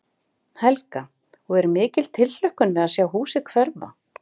Helga: Og er mikil tilhlökkun við að sjá húsið hverfa?